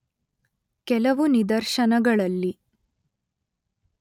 ಕೆಲವು ನಿದರ್ಶನಗಳಲ್ಲಿ